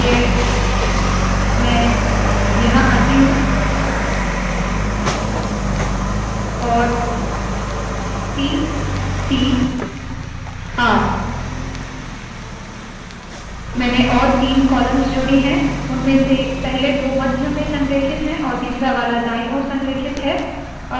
इसलिए मैं यहाँ आती हूँ और c c r मैंने और तीन कॉलम्स जोड़ी है उनमें से पहले दो मध्य में संरेखित है और तीसरा वाला दाईं ओर संरेखित है